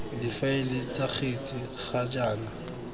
difaele ts kgetsi ga jaana